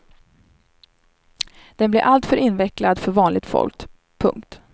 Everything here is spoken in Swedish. Den blir alltför invecklad för vanligt folk. punkt